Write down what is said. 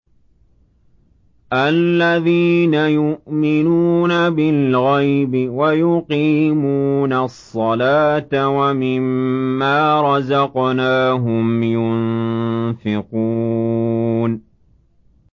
الَّذِينَ يُؤْمِنُونَ بِالْغَيْبِ وَيُقِيمُونَ الصَّلَاةَ وَمِمَّا رَزَقْنَاهُمْ يُنفِقُونَ